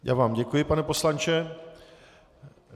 Já vám děkuji, pane poslanče.